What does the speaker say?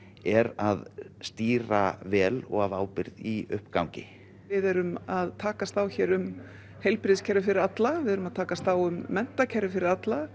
er að stýra vel og af ábyrgð í uppgangi við erum að takast á hér um heilbrigðiskerfi fyrir alla við erum að takast á um menntakerfi fyrir alla